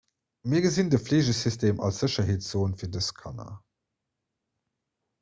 mir gesinn de fleegesystem als sécherheetszon fir dës kanner